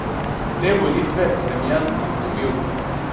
Te volitve sem jaz izgubil.